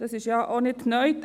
Das ist denn auch nicht neu.